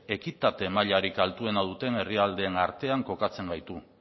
ekitate mailarik altuena duten herrialdeen artean kokatzen gaitu